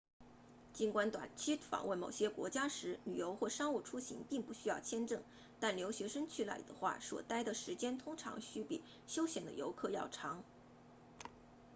尽管短期访问某些国家时旅游或商务出行并不需要签证但留学生去那里的话所待的时间通常需比休闲的游客要长